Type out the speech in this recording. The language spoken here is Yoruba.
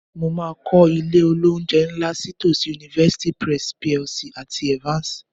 Mo máa kọ́ ilé-olóunjẹ ńlá sí tòsí University Press PLC àti Evans